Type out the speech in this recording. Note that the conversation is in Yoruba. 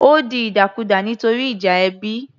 Ó di ìdàkudà nítorí ìjà ẹbí